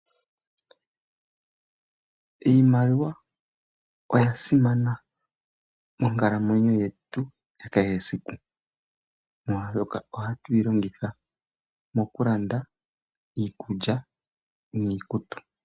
Iimaliwa oyasimana monkalamwenyo yetu kehe esiku molwashoka ohatu yi longitha mokulanda iikulya niikutu.